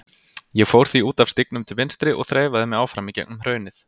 Ég fór því út af stígnum til vinstri og þreifaði mig áfram í gegnum hraunið.